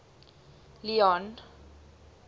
leone